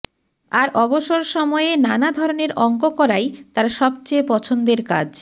আর অবসর সময়ে নানা ধরনের অংক করাই তাঁর সবচেয়ে পছন্দের কাজ